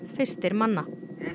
fyrstir manna